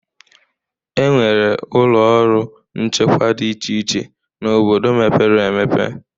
Enwere ụlọ ọrụ nchekwa dị iche iche n'obodo mepere emepe